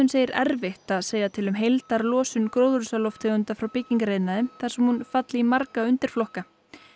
segir erfitt að segja til um heildarlosun gróðurhúsalofttegunda frá byggingariðnaði þar sem hún falli undir marga undirflokka